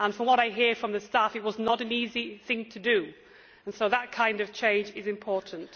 From what I hear from the staff, it was not an easy thing to do. So that kind of change is important.